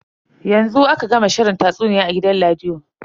Yanzu aka gama shirin tatsuniya a gidan rediyo.